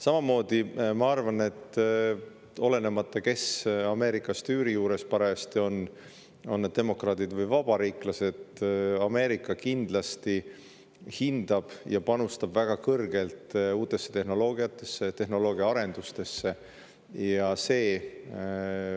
Samamoodi ma arvan, et olenemata sellest, kes parajasti Ameerikas tüüri juures on, on need demokraadid või vabariiklased, Ameerika kindlasti hindab kõrgelt uusi tehnoloogiaid ja tehnoloogiaarendust ning panustab sellesse väga palju.